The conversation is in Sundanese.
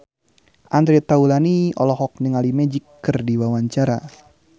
Andre Taulany olohok ningali Magic keur diwawancara